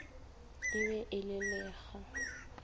e be e le lekga